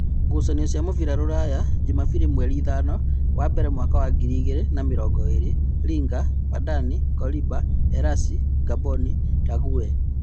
Ngucanio cia mũbira Rũraya Jumabiri mweri ithano wa mbere mwaka wa ngiri igĩrĩ na mĩrongoĩrĩ: Linga, Madani, Koliba, Erasi, Ngamboni, Rague